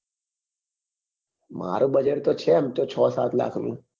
મારું budget તો છે એમ તો છ સાત લાખ નું